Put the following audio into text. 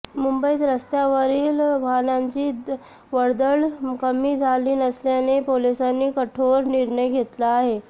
मुंबईत रस्त्यांवरील वाहनांची वर्दळ कमी झाली नसल्याने पोलिसांनी कठोर निर्णय घेतला आहे